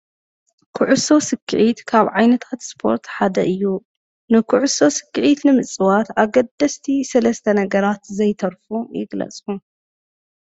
ኩዕሶ ስኪዒት ካብ ዓይነታት ስፖርት ሓደ እዩ፡፡ ንኩዕሶ ስኪዒት ንምፅዋት ኣገደስቲ ሰለስተ ነገራት ዘይተርፉ ግለፁ?